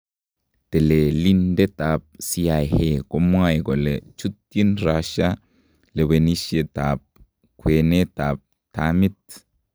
Telelindetab CIA komwae kole chutyin Russia lewenisyeetab kweenetab tamiit.